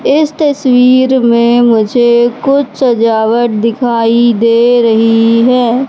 इस तस्वीर में मुझे कुछ सजावट दिखाई दे रही है।